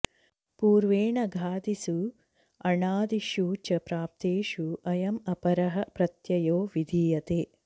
पूर्वेण् घादिसु अणादिषु च प्राप्तेषु अयम् अपरः प्रत्ययो विधीयते